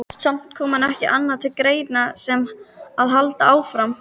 Samt kom ekki annað til greina en að halda áfram.